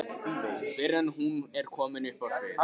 fyrr en hún er komin upp á svið.